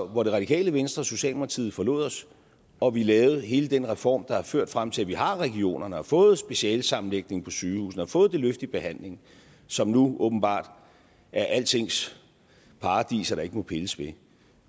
det radikale venstre og socialdemokratiet forlod os og vi lavede hele den reform der har ført frem til at vi har regionerne og har fået specialesammenlægningen på sygehusene og fået det løft i behandling som nu åbenbart er altings paradis der ikke må pilles ved